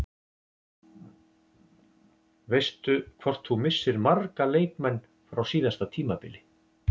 Veistu hvort þú missir marga leikmenn frá síðasta tímabili?